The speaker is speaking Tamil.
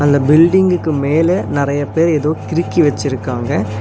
இந்த பில்டிங்க்கு மேல நெறைய பேர் ஏதோ கிறுக்கி வெச்சிருக்காங்க.